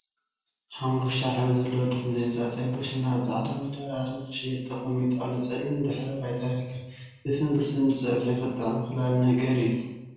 ሓመኩሽታይ ሕብሪ ዘለዎ ድፍን ዘይተፀፀየ ብርስን አብ ፃዕዳ መዳበርያ ንክሽየጥ ተቀሚጡ አብ ፀሊም ድሕረ ባይታ ይርከብ፡፡ ድፍን ብርስን ፀብሑ ክጥዕም ካሊ ነገር እዩ፡፡